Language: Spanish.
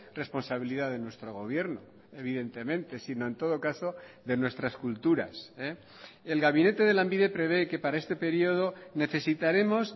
responsabilidad de nuestro gobierno evidentemente sino en todo caso de nuestras culturas el gabinete de lanbide prevé que para este periodo necesitaremos